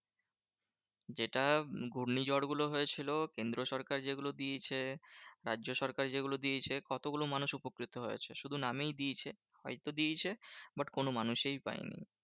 যেটা ঘূর্ণিঝড় গুলো হয়েছিল কেন্দ্রীয় সরকার যেগুলো দিয়েছে, রাজ্য সরকার যেগুলো দিয়েছে, কতগুলো মানুষ উপকৃত হয়েছে? শুধু নামেই দিয়েছে। হয়তো দিয়েছে but কোনো মানুষেই পায়নি।